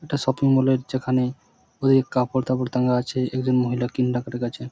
একটা শপিংমল -এর যেখানে ওই কাপড় তাপর টাঙা আছে একজন মহিলা করে গেছে।